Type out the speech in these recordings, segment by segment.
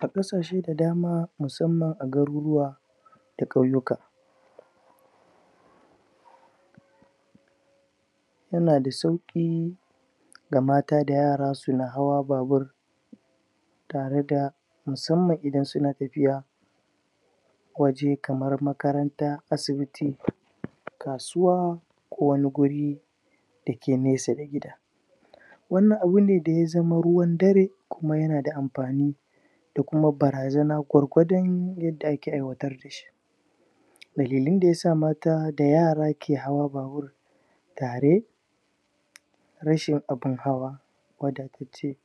A kasashen da dama musamman a garuruwa Da ƙwauyuka Yana da sauki Da mata da yara suna hawa babur Tare da Musamman idan suna tafiya Waje kamar makaranta, asibiti Kasuwa Ko wani guri Dake nesa da gida Wannan abune ne da ya zama ruwan dare Kuma yana da amfani Da kuma barazana gwargwadun.. Wadda ake ai'watar dashi Dalilen da kesa mata da yara ke hawa babur Tare, Rashin abun hawa Wadatacce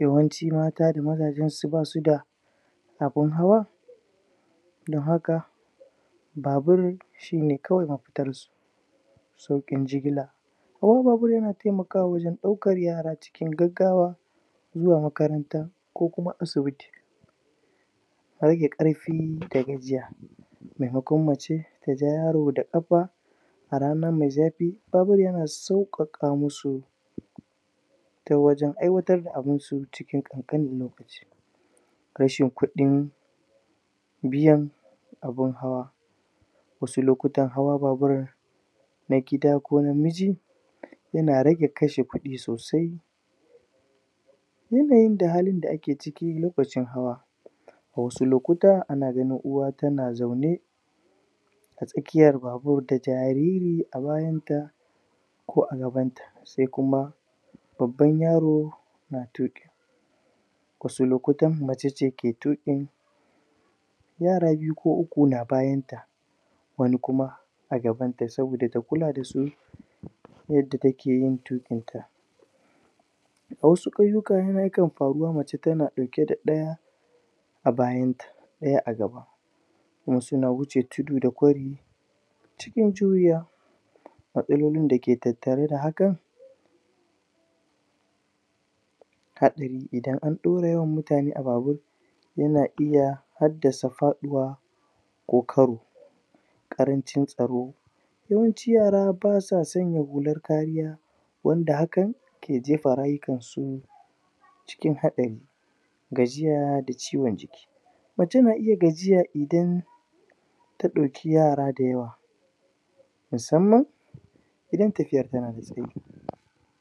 Yawanci mata da mazajen su basuda Abun hawa Don haka Babur Shine kawai mafitarsu Sauƙin jigila ??) Taimaka wajen daukar yara cikin Gaggawa Zuwa makaranta Ko kuma asibiti Rage karfi da gajiya Maimakon mace Taja yaro da ƙafa A rana mai zafi Babur na sauƙaƙa masu Ta wajen ai'watar da abunsu cikin ƙakƙanin lokaci Kashe kudi Biyan Abun hawa Wasu lokutan hawa babur Na gida ko na miji Yana rage kashe kudi sosai Yanayin da halin da ake ciki lokacin hawa Wasu lokuta ana ganin uwa tana zaune A tsakiyar babur da jariri a bayanta Ko a gabanta Sai kuma Babban yaro Na tuƙin Wasu lokutan mace ce tuƙin Yara biyu ko uku na bayanta Wani kuma A gabanta saboda ta kula dasu Yadda takeyin tuƙin ta Wasu kahin, hakan na faruwa mace tana dauke da ɗaya A bayanta ɗaya a gaba Wasu na wuce tudu da kwari Matsalolin dake tattare da hakan Haɗari idan an ɗora mutane a babur Yana iya Haddasa faɗuwa Ko karo ƙarancin tsaro Yawancin yara basa sanya hular kariya Wanda hakan Ke jefa rayukan su Cikin haɗari Gajiya da ciwon jiki Mutum na iya gajiya idan Ka dauki yara da yawa Musamman Idan tafiyar tana da tsayi